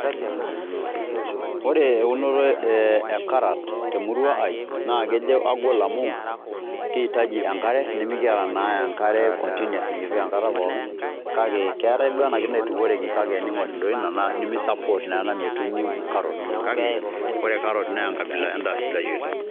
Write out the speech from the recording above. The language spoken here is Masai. Ore eunoto e karat te murua ai naa kejo agol amu kiitaji enkare nemikiata naa enkare continous nekipik enkata pookin kake keetai duo ena kiti naitukoreki kake ening'or doi ina nemi support naa ena metuuni carrot kake ore carrot naa enkabila endaa sidai oleng'.